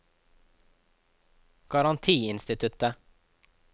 garantiinstituttet